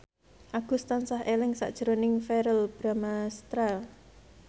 Agus tansah eling sakjroning Verrell Bramastra